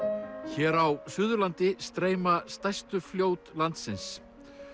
hér á Suðurlandi streyma stærstu fljót landsins